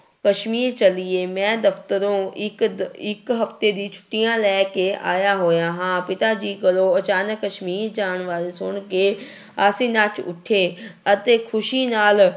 ਕਸ਼ਮੀਰ ਚੱਲੀਏ, ਮੈਂ ਦਫ਼ਤਰੋਂ ਇੱਕ ਦ ਇੱਕ ਹਫ਼ਤੇ ਦੀ ਛੁੱਟੀਆਂ ਲੈ ਕੇ ਆਇਆ ਹੋਇਆ ਹਾਂ, ਪਿਤਾ ਜੀ ਕੋਲੋਂ ਅਚਾਨਕ ਕਸ਼ਮੀਰ ਜਾਣ ਬਾਰੇ ਸੁਣ ਕੇ ਅਸੀਂ ਨੱਚ ਉੱਠੇ ਅਤੇ ਖ਼ੁਸ਼ੀ ਨਾਲ